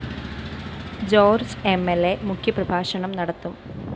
George എം ൽ അ മുഖ്യ പ്രഭാഷണം നടത്തും